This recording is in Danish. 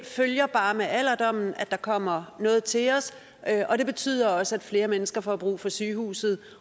følger bare med alderdommen at der kommer noget til os og det betyder også at flere mennesker får brug for sygehuset